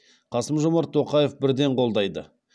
қасым жомарт тоқаев бірден қолдайды